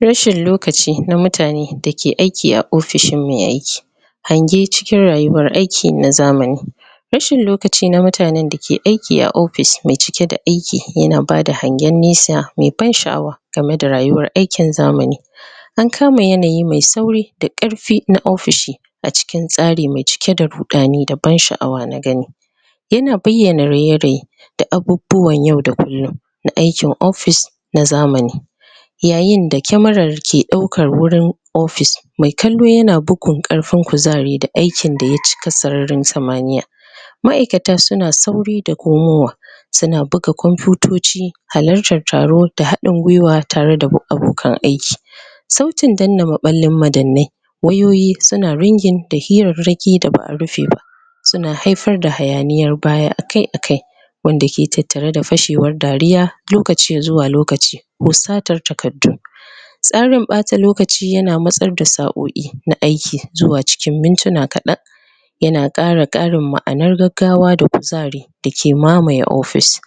Rashin lokaci na mutane da ke aiki a ofishin mai aiki. Hange cikin rayuwar aiki na zamani Rashin lokaci na mutanen da ke aiki a ofishi mai cike da aiki yana bada hangen nesa mai ban sha'awa tare da rayuwar aikin zamani An kama yanayi mai sauri da ƙarfi na ofishi a cikin tsari mai cike da ruɗani da ban sha'awa na gani yana bayyana raye-raye da abubuwan yau da kullum na aiki office na zamani yayinda cameran ke ɗaukan wurin office mai kallo yana bugun ƙarfin kuzari da aikin da ya cike sararin samaniya ma'aikata suna sauri da komowa suna buga komfutoci, halartan taro da haɗin gwiwa tare da abokan aiki sautin danna maɓallin madannai wayoyi suna ringing da hirarraki da ba a rufe ba suna haifar da hayaniyar baya akai-akai wanda ke tattare da fashewar dariya lokaci zuwa lokaci ko satar takardu tsarin ɓata lokaci yana matsar da sa'o'i na aiki zuwa cikin mintuna kaɗan yana ƙara karin ma'anar gawa da kuzari da ke mamaye office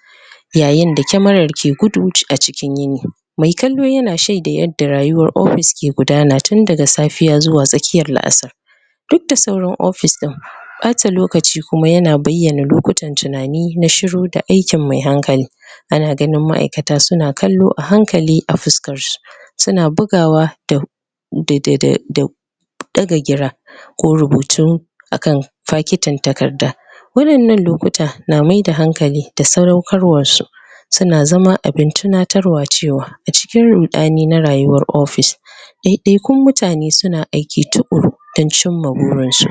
yayinda camare ke gudu a cikin gini. Mai kallo yana shaida yanda rayuwan office ke gudana tun daga safiya zuwa tsakiyar la'asar duk da sauran office ɗin ɓata lokaci kuma yana bayyana lokutan tunani na shiru da aikin mai hankali ana ganin ma'aikata suna kallo a hankali a fuskar su suna bugawa da da da da daga gira ko rubutu a kan fakitin takarda waɗannan lokuta na maida hankali da sadaukar wa su suna zama abin tunatarwa cewa acikin rudani na rayuwar office ɗaiɗaikun mutane su na aiki tukuru don cimma burin su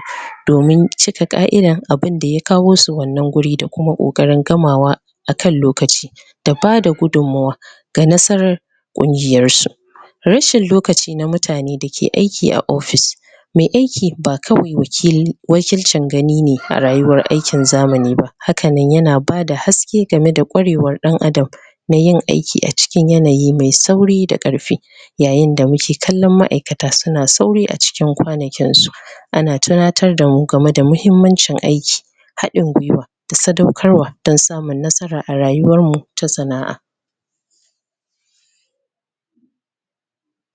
domin cika ƙaidan abin da ya kawo su wannan wuri da kuma ƙoƙarin gamawa a kan lokaci da bada gudummawa ga nasarar ƙungiyar su rashin lokaci na mutane da ke aiki a office mai aiki ba kawai wakilcin gani ne a rayuwar aikin zamani ba hakanan yana bada haske game da kwarewar ɗan adam na yin aiki a cikin yanayi mai sauri da ƙarfi yayinda muke ganin ma'aikata suna sauri a cikin kwanakin su ana tunatar damu game da yanayin aiki haɗin gwiwa da sadaukarwa don samun nasara a rayuwar mu ta sana'a